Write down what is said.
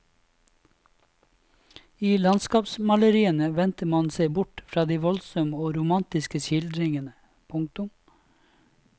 I landskapsmaleriene vendte man seg bort fra de voldsomme og romantiske skildringene. punktum